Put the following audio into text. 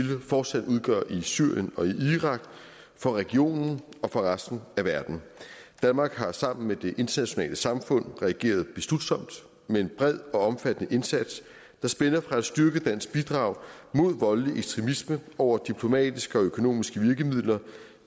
fortsat udgør i syrien og irak for regionen og for resten af verden danmark har sammen med det internationale samfund reageret beslutsomt med en bred og omfattende indsats der spænder fra et styrket dansk bidrag mod voldelig ekstremisme over diplomatiske og økonomiske virkemidler